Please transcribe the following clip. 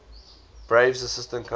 braves assistant coach